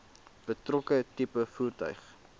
betrokke tipe voertuig